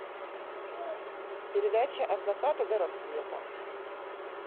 передача от заката до рассвета